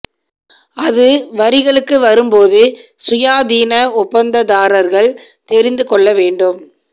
அது வரிகளுக்கு வரும் போது சுயாதீன ஒப்பந்ததாரர்கள் தெரிந்து கொள்ள வேண்டும்